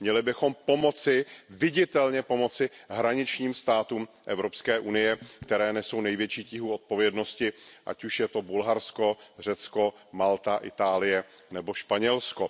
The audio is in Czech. Měli bychom pomoci, viditelně pomoci hraničním státům EU, které nesou největší tíhu odpovědnosti, ať už je to Bulharsko, Řecko, Malta, Itálie nebo Španělsko.